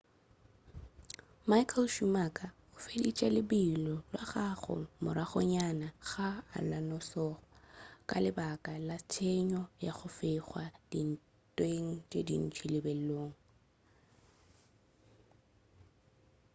michael schumacher o feditše lebelo la gagwe moragonyana ga alonso ka lebaka la tshenyo ya go fegwa dintweng tše dintši lebelong